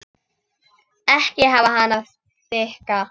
Ekki hafa hana of þykka.